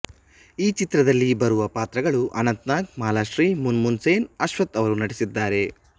ಈ ಚಿತ್ರದಲ್ಲಿ ಬರುವ ಪಾತ್ರಗಳು ಅನಂತನಾಗ್ ಮಾಲಾಶ್ರೀ ಮೂನ್ ಮೂನ್ ಸೇನ್ ಅಶ್ವಥ್ ಅವರು ನಟಿಸಿದ್ದಾರೆ